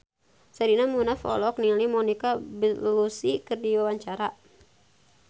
Sherina Munaf olohok ningali Monica Belluci keur diwawancara